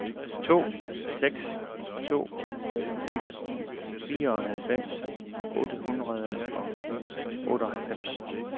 to seks to fem fireoghalvfems otte hundrede og otteoghalvfems